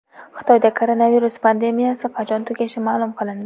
Xitoyda koronavirus pandemiyasi qachon tugashi ma’lum qilindi.